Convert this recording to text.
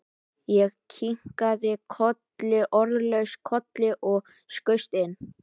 Ég kinkaði orðalaust kolli og skaust inn.